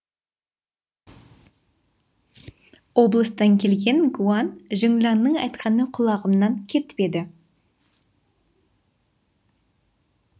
облыстан келген гуан жіңланның айтқаны құлағымнан кетпеді